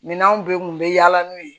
Minanw bɛɛ kun bɛ yaala n'u ye